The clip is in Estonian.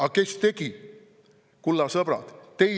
Aga kes tegi, kulla sõbrad?